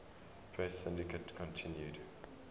press syndicate continued